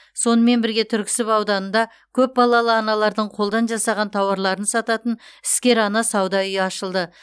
сонымен бірге түрксіб ауданында көпбалалы аналардың қолдан жасаған тауарларын сататын іскер ана сауда үйі ашылды